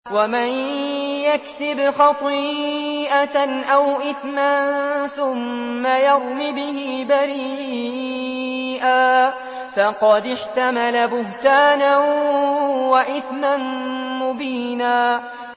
وَمَن يَكْسِبْ خَطِيئَةً أَوْ إِثْمًا ثُمَّ يَرْمِ بِهِ بَرِيئًا فَقَدِ احْتَمَلَ بُهْتَانًا وَإِثْمًا مُّبِينًا